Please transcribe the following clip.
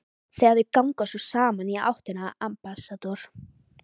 Þegar þau ganga svo saman í áttina að Ambassador